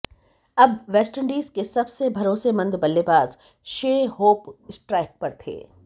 अब वेस्टइंडीज के सबसे भरोसेमंद बल्लेबाज शे होप स्ट्राइक पर थे